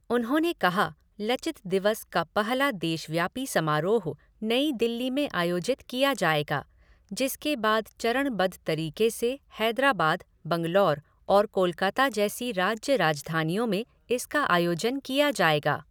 उन्होंने कहा, 'लचित दिवस' का पहला देशव्यापी समारोह नई दिल्ली में आयोजित किया जाएगा, जिसके बाद चरणबद्ध तरीके से हैदराबाद, बंगलौर और कोलकाता जैसी राज्य राजधानियों में इसका आयोजन किया जाएगा।